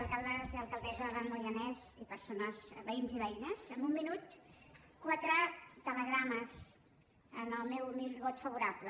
alcaldes i alcaldessa del moianès veïns i veïnes en un minut quatre telegrames amb el meu humil vot favorable